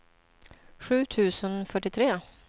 sju tusen fyrtiotre